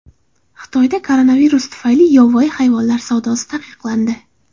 Xitoyda koronavirus tufayli yovvoyi hayvonlar savdosi taqiqlandi.